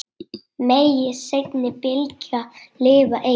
Megi seinni bylgjan lifa enn.